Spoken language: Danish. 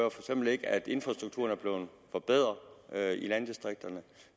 eksempel ikke at infrastrukturerne er blevet forbedret i landdistrikterne at